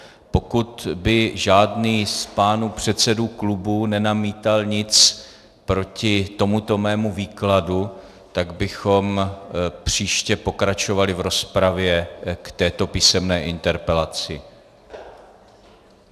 Pokud by žádný z pánů předsedů klubů nenamítal nic proti tomuto mému výkladu, tak bychom příště pokračovali v rozpravě k této písemné interpelaci.